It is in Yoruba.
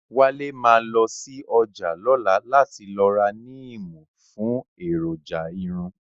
Wálé ma lọ sí ọjà lọ́la láti lọ ra níìmù fún èròjà irun